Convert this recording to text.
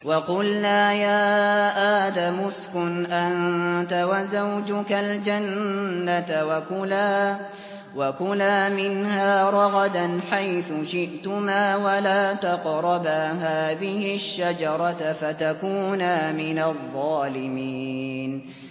وَقُلْنَا يَا آدَمُ اسْكُنْ أَنتَ وَزَوْجُكَ الْجَنَّةَ وَكُلَا مِنْهَا رَغَدًا حَيْثُ شِئْتُمَا وَلَا تَقْرَبَا هَٰذِهِ الشَّجَرَةَ فَتَكُونَا مِنَ الظَّالِمِينَ